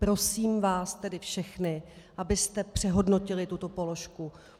Prosím vás tedy všechny, abyste přehodnotili tuto položku.